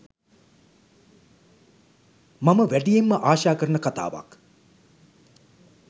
මම වැඩියෙන්ම ආශා කරන කතාවක්